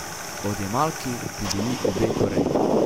Odjemalki bi bili obe Koreji.